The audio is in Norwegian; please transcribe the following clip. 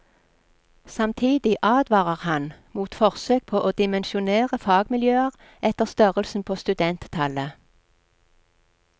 Samtidig advarer han mot forsøk på å dimensjonere fagmiljøer etter størrelsen på studenttallet.